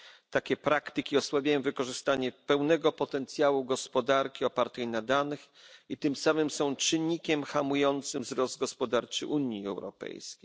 Takie praktyki osłabiają wykorzystanie pełnego potencjału gospodarki opartej na danych i tym samym są czynnikiem hamującym wzrost gospodarczy Unii Europejskiej.